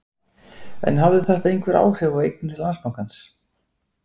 En hafði þetta einhver áhrif á eignir Landsbankans?